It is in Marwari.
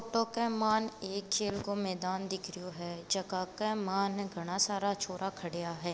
फोटो के मायन एक खेल को मैदान दिख रहियो है जका के मायने घना सारा छोरा खड्या है।